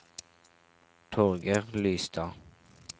Torger Lystad